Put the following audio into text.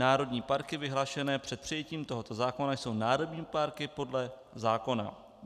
Národní parky vyhlášené před přijetím tohoto zákona jsou národní parky podle zákona."